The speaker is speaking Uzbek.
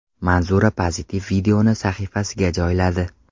Manzura pozitiv videoni sahifasiga joyladi.